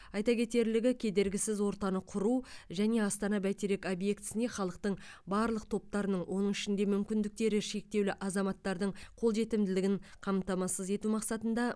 айта кетерлігі кедергісіз ортаны құру және астана бәйтерек объектісіне халықтың барлық топтарының оның ішінде мүмкіндіктері шектеулі азаматтардың қолжетімділігін қамтамасыз ету мақсатында